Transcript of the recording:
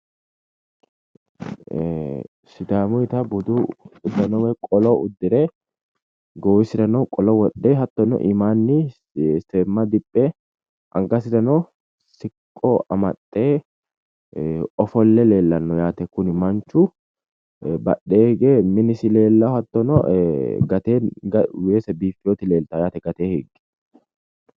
Sidaamuyta budu uddano woy qolo uddire Goowisirano qoolo wodhe hattono iimaani seema Diphe anggasirano siqqo amaxxe ofolle lellanno Yaate kuni manchu badhee hige minisi leelawo Gatee weese bifiyot leeltawo yaate gatee higge